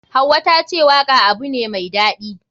Hauwa tace waka abu ne mai daɗi.